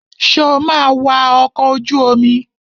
Sọ ma wa ọkọ̀ ojú omi?